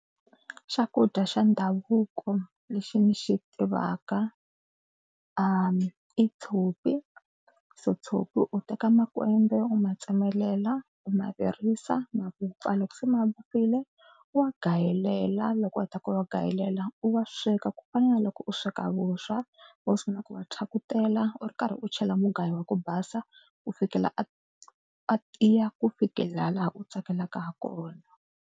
Xakudya xa ndhavuko lexi ndzi xi tivaka i tshopi. So tshopi u teka makwembe u ma tsemelela u ma virisa ma vupfa loko se ma vupfile u wa gayelela loko u heta ku va va gayelela u wa sweka ku fana na loko u sweka vuswa. U sungula ku wa pyakutela u ri karhi u chela mugayo wa ku basa ku fikela a a tiya ku fikela laha u tsakelaka ha kona.